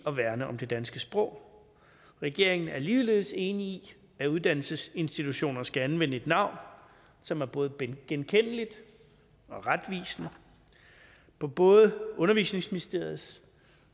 at værne om det danske sprog regeringen er ligeledes enig i at uddannelsesinstitutioner skal anvende et navn som er både genkendeligt og retvisende på både undervisningsministeriets